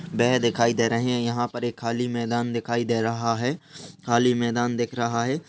वह दिखाई दे रहा है यहाँ पर एक खाली मैदान दिखाई दे रहा है खाली मैदान दिख रहा है।